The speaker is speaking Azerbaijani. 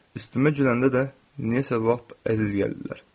Üstümə güləndə də nədənsə lap əziz gəlirlər.